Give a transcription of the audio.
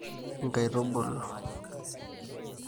Nkaitubulu